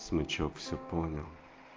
смычок все понял